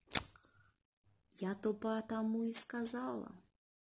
я то потому и сказала